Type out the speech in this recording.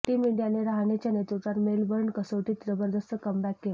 team इंडियाने रहाणेच्या नेतृत्वात मेलबर्न कसोटीत जबरदस्त कमबॅक केला